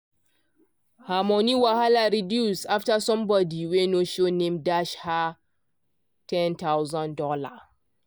her money wahala reduce after somebody wey no show name dash her one thousand dollars0.